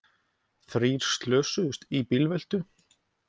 Þrír slösuðust í bílveltu